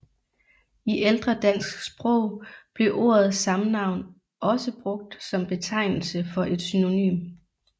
I ældre dansk sprog blev ordet samnavn også brugt som betegnelse for et synonym